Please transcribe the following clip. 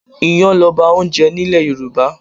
Iyán loba oúnjẹ nílè Yorùbá.